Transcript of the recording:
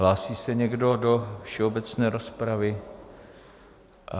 Hlásí se někdo do všeobecné rozpravy?